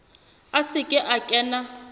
a se ke a kena